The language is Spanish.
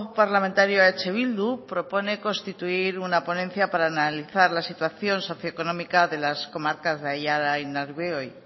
parlamentario eh bildu propone constituir una ponencia para analizar la situación socio económica de las comarcas de aiara y nerbioi